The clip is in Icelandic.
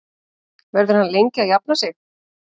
Verður hann lengi að jafna sig?